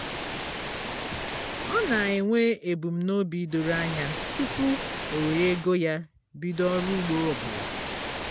ọ na-enwe ebumnobi doro anya tụpụ o were ego ya bido ọrụ ugbo ọbụla